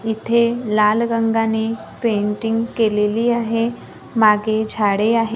इथे लाल रंगाने पेंटिंग केलेली आहे मागे झाडे आहे.